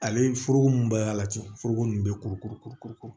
Ale foroko mun b'a la ten foroko nin bɛ kuru kuru kuru kuru